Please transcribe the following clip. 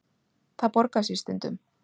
Það borgar sig stundum.